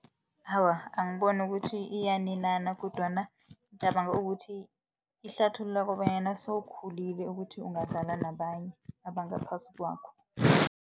Awa, angiboni ukuthi iyaninana kodwana ngicabanga ukuthi ihlathulula kobanyana sewukhulile ukuthi ungadlala nabanye abangaphasi kwakho.